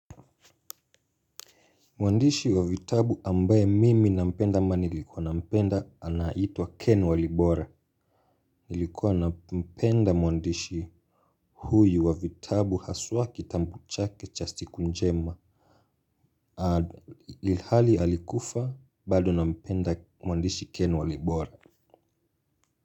Mwandishi wa vitabu ambaye mimi nampenda ama nilikuwa nampenda anaitwa Ken Walibora. Nilikuwa nampenda mwandishi huyu wa vitabu haswa kitabu chake cha siku njema. Hali alikufa bado nampenda mwandishi Ken Walibora.